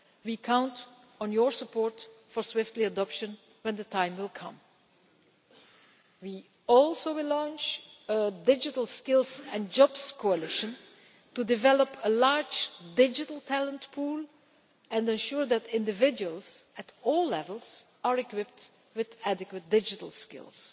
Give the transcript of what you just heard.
We count on your support for swift adoption when the time comes. We will also launch a Digital Skills and Jobs Coalition' to develop a large digital talent pool and ensure that individuals at all levels are equipped with adequate digital skills.